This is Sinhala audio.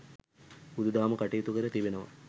බුදු දහම කටයුතු කර තිබෙනවා.